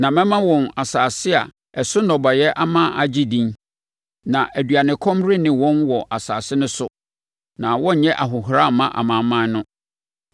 Na mɛma wɔn asase a ɛso nnɔbaeɛ ama agye din, na aduanekɔm renne wɔn wɔ asase no so na wɔrenyɛ ahohora mma amanaman no.